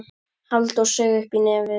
Halldór saug upp í nefið.